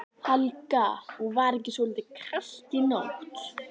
Helga: Og var ekki svolítið kalt í nótt?